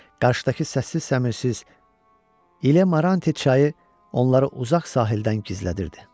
Qarşıdakı səssiz, səmirsiz İl-e-Maranthe çayı onları uzaq sahildən gizlədirdi.